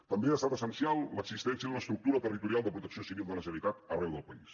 també ha estat essencial l’existència d’una estructura territorial de protecció civil de la generalitat arreu del país